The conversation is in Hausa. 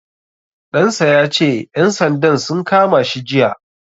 Ɗan sa ya ce ƴan sandan sun kama shi jiya.